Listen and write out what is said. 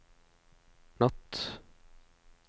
natt